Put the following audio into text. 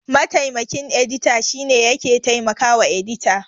Mataimakin edita shine yake taimakawa edita.